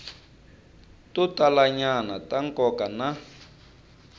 to talanyana ta nkoka na